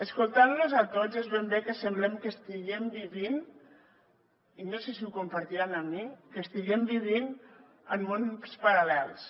escoltant los a tots és ben bé que sembla que estiguem vivint i no sé si ho compartiran amb mi en mons paral·lels